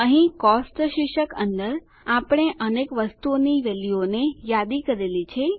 અહીં કોસ્ટ શીર્ષક અંદર આપણે અનેક વસ્તુઓની વેલ્યુઓને યાદી કરેલી છે